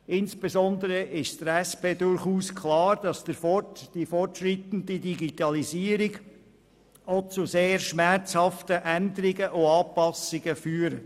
Insbesondere ist der SP durchaus klar, dass die fortschreitende Digitalisierung auch zu sehr schmerzhaften Änderungen und Anpassungen führt.